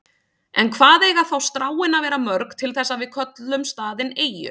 En hvað eiga þá stráin að vera mörg til þess að við köllum staðinn eyju?